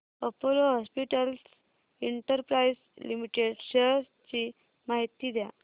Apollo hospitals enterprise limited shares ची माहिती द्या